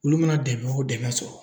Olu mana dɛmɛ o dɛmɛ sɔrɔ